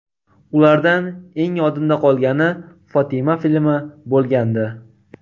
Ulardan eng yodimda qolgani ‘Fotima’ filmi bo‘lgandi.